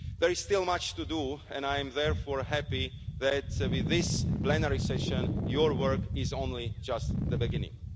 There is still much to do and I am therefore happy that, with this plenary session, your work is only just the beginning.